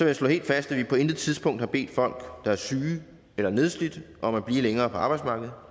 jeg slå helt fast at vi på intet tidspunkt har bedt folk der er syge eller nedslidte om at blive længere på arbejdsmarkedet